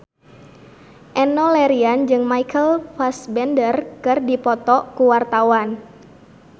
Enno Lerian jeung Michael Fassbender keur dipoto ku wartawan